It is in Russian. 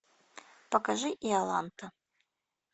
покажи иоланта